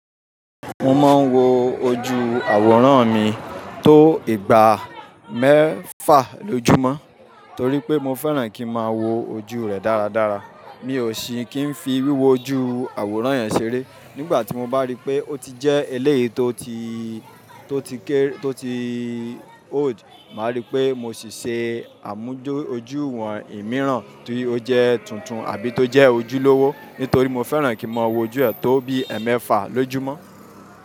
Mo máa ń wọ ojú àwòrán mi tó ìgbà mẹ́fà lójúmọ́ torí pé mo fẹ́ran kí n máa wo ojú rẹ̀ dáradára. Mi ò sì kí ń fi wíwo ju àwòrán yẹn ṣeré. Nígbà tí mo bá rí pé ó ti jẹ́ eléyìí tó ti, tó ti ké, tó ti old, màá rí pé mo sì ṣe àmujú ojú wọn ìmíràn torí ó jẹ́ tuntun àbí tó jẹ́ ojúlówó. Nítorí mo fẹ́ran kí máa wo ojú ẹ̀ tó bí ẹ́ mẹ́fà lójúmọ́.